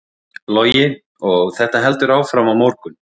Logi: Og þetta heldur áfram á morgun?